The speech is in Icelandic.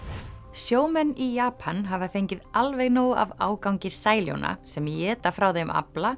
sjómenn í Japan hafa fengið alveg nóg af ágangi sem éta frá þeim afla